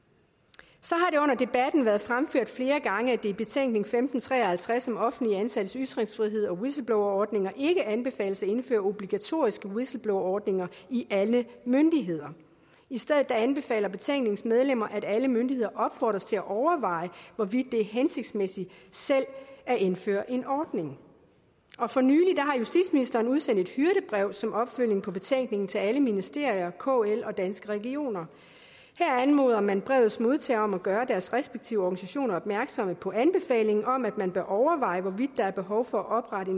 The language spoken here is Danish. så debatten været fremført flere gange at det i betænkning femten tre og halvtreds om offentligt ansattes ytringsfrihed og whistleblowerordninger ikke anbefales at indføre obligatoriske whistleblowerordninger i alle myndigheder i stedet anbefaler betænkningen at alle myndigheder opfordres til at overveje hvorvidt det er hensigtsmæssigt selv at indføre en ordning og for nylig har justitsministeren udsendt et hyrdebrev som opfølgning på betænkningen til alle ministerier kl og danske regioner her anmoder man brevets modtagere om at gøre deres respektive organisationer opmærksom på anbefalingen om at man bør overveje hvorvidt der er behov for at oprette